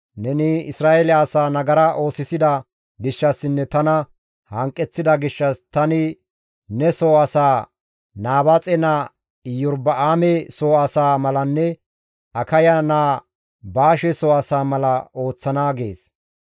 Neni Isra7eele asaa nagara oosisida gishshassinne tana hanqeththida gishshas tani ne soo asaa Nabaaxe naa Iyorba7aame soo asaa malanne Akaya naa Baashe soo asaa mala ooththana› gees.